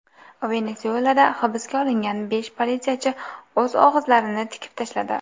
Venesuelada hibsga olingan besh politsiyachi o‘z og‘izlarini tikib tashladi.